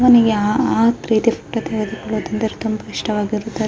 ಒಬ್ಬನಿಗೆ ಆ ರೀತಿ ಆ ರೀತಿ ಫೋಟೋ ತೆಗೆದು ಕೊಲ್ಲೋಳ ಇಷ್ಟವಿರುತ್ತೆ --